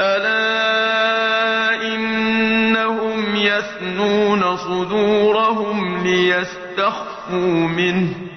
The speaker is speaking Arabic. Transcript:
أَلَا إِنَّهُمْ يَثْنُونَ صُدُورَهُمْ لِيَسْتَخْفُوا مِنْهُ ۚ